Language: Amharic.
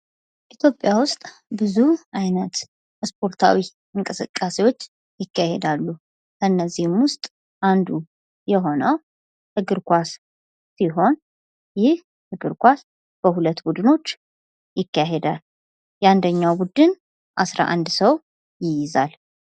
ኢትዮጵያ ዉስጥ ብዙ አይነት ስፖርታዊ እንቅስቃሴዎች ይካሄዳሉ። ከነዚህም ዉስጥ አንዱ የሆነው እግር ኳስ ሲሆን ይህ እግር ኳስ በሁለት ቡድኖች ይካሄዳል የአንደኛው ቡድን አስራ አንድ ሰዎች ይይዛል።